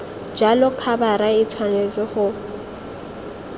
jalo khabara e tshwanetse go